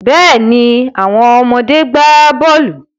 Bẹ́ẹ̀ni, àwọn ọmọdé gbà bọ́ọ̀lù.